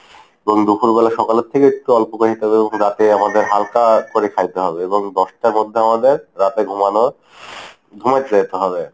এবং দুপুরবেলা সকালের থেকে একটু অল্প করে দিতে হবে এবং রাতে আমাদের হালকা করে খাইতে হবে এবং দশটার মধ্যে আমাদের রাতে ঘুমানো ঘুমাইতে যাইতে হবে।